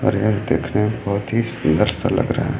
और यह देखने में बहोत ही सुंदर सा लग रहा है।